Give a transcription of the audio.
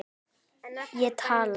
Ég tala.